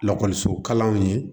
Lakɔliso kalanw ye